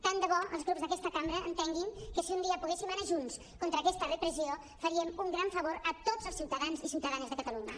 tant de bo els grups d’aquesta cambra entenguin que si un dia poguéssim anar junts contra aquesta re·pressió faríem un gran favor a tots els ciutadans i ciutadanes de catalunya